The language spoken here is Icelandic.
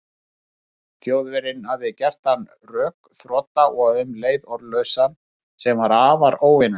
Þjóðverjinn hafði gert hann rökþrota og um leið orðlausan, sem var afar óvenjulegt.